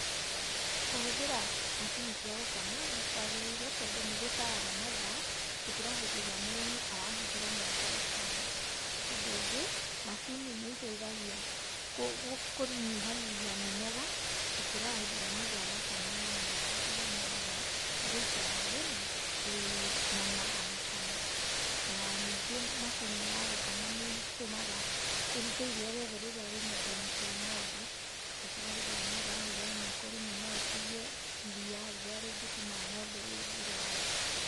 Kũhũthĩra macini cia gũkama nĩ kwagĩrĩire tondũ nĩgũtharaga mathaa gũkĩra hĩndĩ ĩrĩa mũrĩmi arahuthĩra moko gũkama. Ũndũ ũngĩ macini nĩiteithagia kũnyihanyihia mĩnoga gũkĩra rĩrĩa mũndũ arakama na moko nĩanogaga, nĩ gũikara thĩ na kũinama agĩkama, na ningĩ macini ya gũkama nĩĩtũmaga ĩrute iria rĩothe rĩ nyondoinĩ cia ng'ombe gũkĩra hĩndĩ ĩrĩa mũndũ arahũthĩra moko rĩmwe no ũtigie iria rĩrĩa rĩngĩtũma ng'ombe ĩyo ĩrũare.